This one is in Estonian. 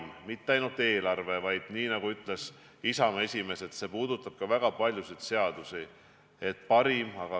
See ei puuduta ainult eelarvet, vaid – nagu ütles Isamaa esimees – see puudutab väga paljusid seadusi.